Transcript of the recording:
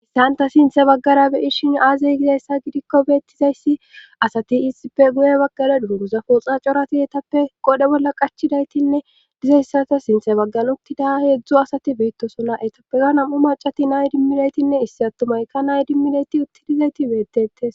Issanta sinthe baggara beyirshin aazey gizayssa gidikko beettizayssi asati isippe guye baggara duuruza fooxa corati etappe qodhe bolla qachidaytinne dizayssata sinthe baggan uttida heedzdzu asati beettosola etappeza nam"u macati nay dimminaytinne issi attumayka nay dimminayti uttidizayti beettetes